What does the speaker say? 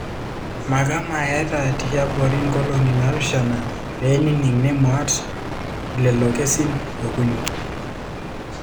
Makama eta tiabori nkolongi napishana penining nemut lelo kesin okuni.